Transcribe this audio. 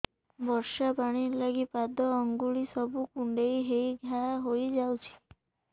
ବର୍ଷା ପାଣି ଲାଗି ପାଦ ଅଙ୍ଗୁଳି ସବୁ କୁଣ୍ଡେଇ ହେଇ ଘା ହୋଇଯାଉଛି